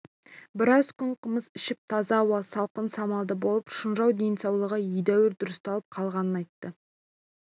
біраз күн қымыз ішіп таза ауа салқын самалда болып шынжау денсаулығы едәуір дұрысталып қалғанын айтты